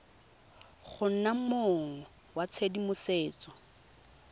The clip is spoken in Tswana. go nna mong wa tshedimosetso